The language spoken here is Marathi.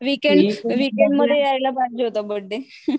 विकेंड विकेंड मध्ये यायला पाहिजे होता बर्थडे.